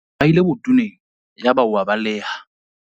O mo rahile botoneng yaba o a baleha.